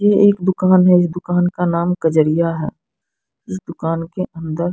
ये एक दुकान है इस दुकान का नाम कजरिया है इस दुकान के अंदर--